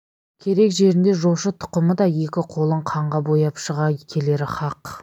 керек жерінде жошы тұқымы да екі қолын қанға бояп шыға келері хақ